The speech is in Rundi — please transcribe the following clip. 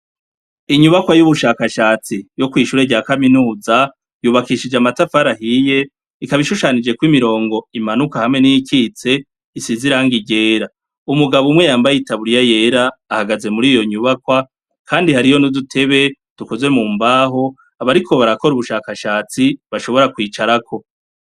inyubakwa yubushakashatsi yo kwishuri rya kaminuza yubakishije amatafari ahiye ikaba ishushanijeko imirongo imanuka hamwe niyikitse isize irangi ryera umugabo umwe yambaye itaburiya yera ahgaze muriyo nyubakwa kandi hariyo n'udutebe dukozwe mu mbaho abariko barakora ubushakashatsi bashobora kwicarako.